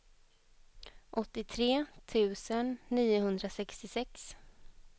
åttiotre tusen niohundrasextiosex